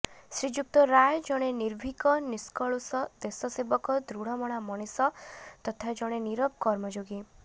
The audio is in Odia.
ଶ୍ରୀଯୁକ୍ତ ରାୟ ଜଣେ ନିର୍ଭୀକ ନିଷ୍କଳୁଷ ଦେଶସେବକ ଦୃଢମନା ମଣିଷ ତଥା ଜଣେ ନୀରବ କର୍ମଯୋଗୀ